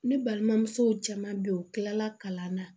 Ne balimamuso caman bɛ yen u tilala kalan na